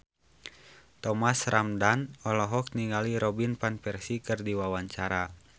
Thomas Ramdhan olohok ningali Robin Van Persie keur diwawancara